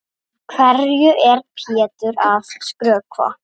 Hverju er Pétur að skrökva?